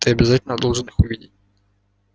ты обязательно должен их увидеть